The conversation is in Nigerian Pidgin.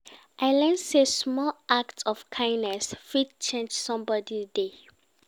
I learn sey small act of kindness, fit change somebodi day.